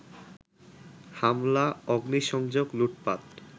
হামলা, অগ্নিসংযোগ, লুটপাট